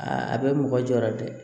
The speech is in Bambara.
Aa a bɛ mɔgɔ jɔyɔrɔ ye dɛ